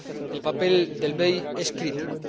El papel del BEI es crítico.